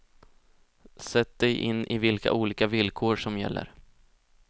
Sätt dig in i vilka olika villkor som gäller.